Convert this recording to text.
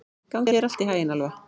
Gangi þér allt í haginn, Alfa.